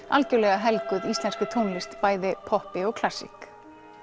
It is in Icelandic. algjörlega helguð íslenskri tónlist bæði poppi og klassík